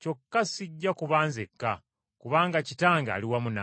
Kyokka sijja kuba nzekka, kubanga Kitange ali wamu nange.